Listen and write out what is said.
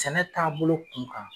Sɛnɛ taabolo kunkan.